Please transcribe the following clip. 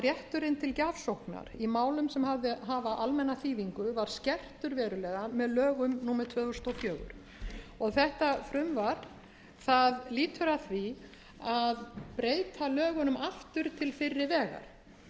rétturinn til gjafsóknar í málum sem hafa almenna þýðingu var skertur verulega með lögum númer tvö þúsund og fjögur þetta frumvarp lýtur að því að breyta lögunum aftur til fyrri vegar